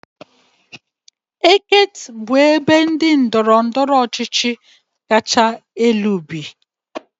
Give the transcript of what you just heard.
Eket bụ ndị ndọrọ ndọrọ ọchịchị kacha elu bi na ya